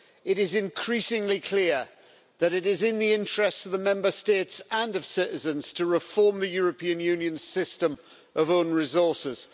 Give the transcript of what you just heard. It is increasingly clear that it is in the interests of the Member States and of citizens to reform the European Union's system of own resources.